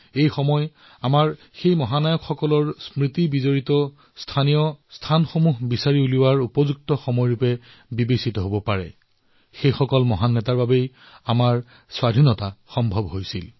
এনে ক্ষেত্ৰত আমাৰ সেই মহানায়কসকলৰ সৈতে জড়িত স্থানীয় ঠাইসমূহৰ সন্ধান কৰাটো অতিশয় উচিত সময় হৈছে যাৰ বাবে আমি স্বাধীনতা লাভ কৰিলো